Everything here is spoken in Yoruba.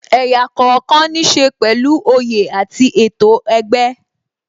Ẹ̀yà kookan ní ṣe pẹ̀lú oyè àti ètò ẹgbẹ́